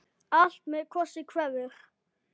Allt með kossi kveður.